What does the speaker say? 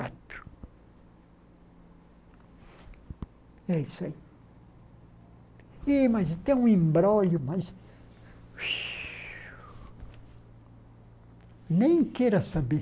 e é isso aí Ih, mas tem um embrólho, mas... Nem queira saber.